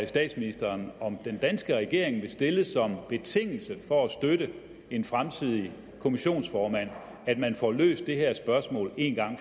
statsministeren om den danske regering vil stille som betingelse for at støtte en fremtidig kommissionsformand at man får løst det her spørgsmål en gang